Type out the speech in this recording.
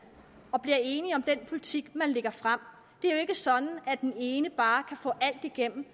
og bliver enige om den politik man lægger frem det er jo ikke sådan at den ene bare kan få alt igennem